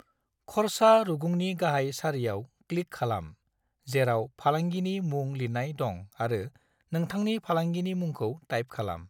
खरसा रुगुंनि गाहाइ सारियाव क्लिक खालाम जेराव फालांगिनि मुं लिरनाय दं आरो नोंथांनि फालांगिनि मुखौ टाइप खालाम।